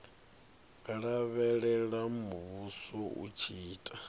lavhelela muvhuso u tshi ita